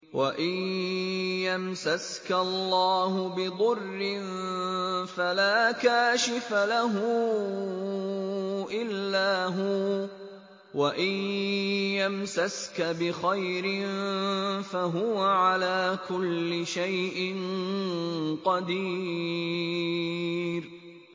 وَإِن يَمْسَسْكَ اللَّهُ بِضُرٍّ فَلَا كَاشِفَ لَهُ إِلَّا هُوَ ۖ وَإِن يَمْسَسْكَ بِخَيْرٍ فَهُوَ عَلَىٰ كُلِّ شَيْءٍ قَدِيرٌ